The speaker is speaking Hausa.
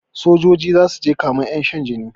Sojoji zasuje kamen ƴan shan jini